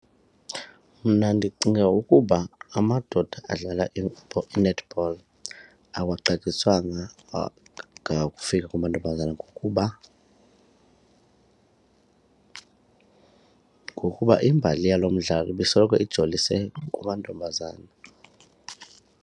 Mna ndicinga ukuba amadoda adlala i-netball awaxatyiswanga kakufika kumantombazana ngokuba ngokuba imbali yalo mdlalo ibisoloko ijolise kumantombazana.